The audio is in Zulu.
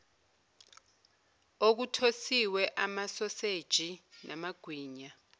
okuthosiwe amasoseji namagwinya